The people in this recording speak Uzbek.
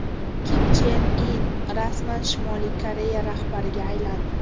Kim Chen In rasman Shimoliy Koreya rahbariga aylandi.